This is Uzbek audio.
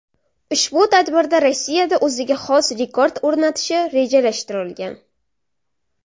Ushbu tadbirda Rossiyada o‘ziga xos rekord o‘rnatishi rejalashtirilgan.